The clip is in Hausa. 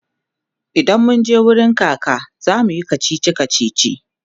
idan munje wurin kaka zamuyi kachichi kachichi